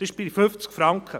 Diese liegt bei 50 Franken.